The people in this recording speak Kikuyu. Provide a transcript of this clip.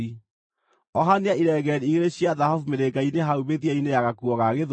Ohania irengeeri igĩrĩ cia thahabu mĩrĩnga-inĩ hau mĩthia-inĩ ya gakuo ga gĩthũri,